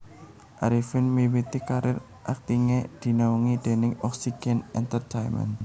Arifin miwiti karir aktingé dinaungi déning Oxygen Entertainment